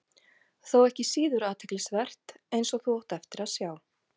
Þó ekki síður athyglisvert, eins og þú átt eftir að sjá.